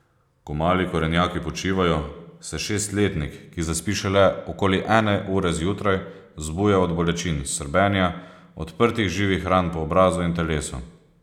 Ko mali korenjaki počivajo, se šestletnik, ki zaspi šele okoli ene ure zjutraj, zbuja od bolečin, srbenja, odprtih, živih ran po obrazu in telesu.